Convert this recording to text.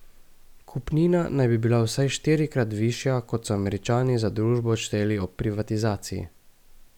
Kupnina naj bi bila vsaj štirikrat višja, kot so Američani za družbo odšteli ob privatizaciji.